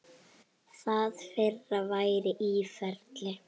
Það fyrra væri í ferli.